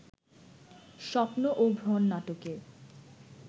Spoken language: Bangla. স্বপ্ন ও ভ্রণ নাটকে